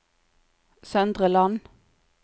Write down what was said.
Søndre Land